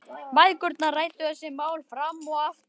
Mæðgurnar ræddu þessi mál fram og aftur.